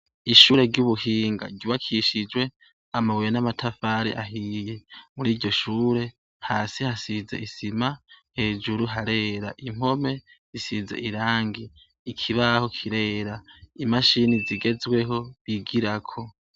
Ishure ry'ubuhinga, ryubakishijwe amabuye n'amatafari ahiye. Muri iryo shure hasi hasize isima, hejuru harera, impome zisize irangi, ikibaho kirera, imashini zigezweho bigirako.